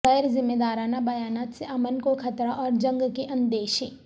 غیر ذمہ دارانہ بیانات سے امن کو خطرہ اور جنگ کے اندیشے